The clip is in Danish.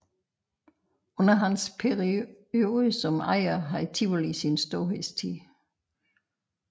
Under hans periode som ejer havde Tivoli sin storhedstid